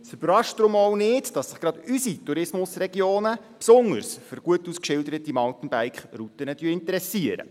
Es überrascht deshalb auch nicht, dass sich gerade unsere Tourismusregionen besonders für gut ausgeschilderte Mountainbike-Routen interessieren.